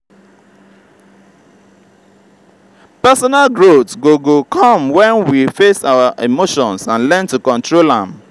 personal growth go go come when we face our emotions and learn to control am.